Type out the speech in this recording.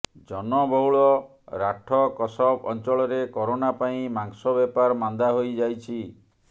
ଜନବହୁଳ ରାଠ କସବ୍ ଅଞ୍ଚଳରେ କରୋନା ପାଇଁ ମାଂସବେପାର ମାନ୍ଦା ହୋଇଯାଇଛି